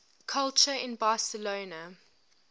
culture in barcelona